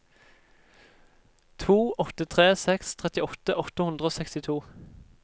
to åtte tre seks trettiåtte åtte hundre og sekstito